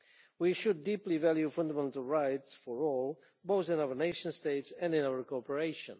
We should deeply value fundamental rights for all, both in our nation states and in our cooperation.